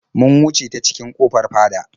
Mun wuce ta cikin ƙofar fada.